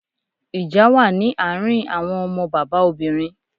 Ìjà wà ní àárín àwọn ọmọ bàbá obìnrin.